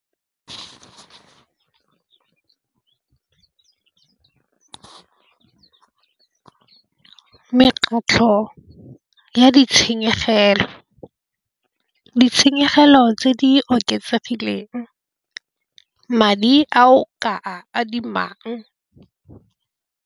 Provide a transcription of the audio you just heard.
Mekgatlho ya ditshenyegelo, ditshenyegelo tse di oketsegileng madi a o ka a adimang.